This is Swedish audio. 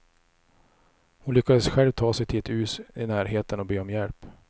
Hon lyckades själv ta sig till ett hus i närheten och be om hjälp.